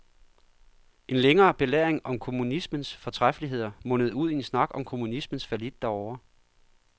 En længere belæring om kommunismens fortræffeligheder mundede ud i en snak om kommunismens fallit derovre.